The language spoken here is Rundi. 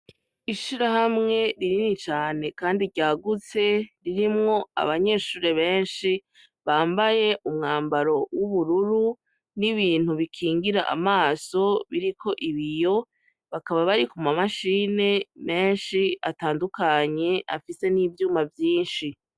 Ishira hamwe ririni cane, kandi ryagutse ririmwo abanyeshure benshi bambaye umwambaro w'ubururu n'ibintu bikingira amaso biriko ibiyo bakaba barikumamashine menshi atandukanye afise n'ivyuma vyinshi.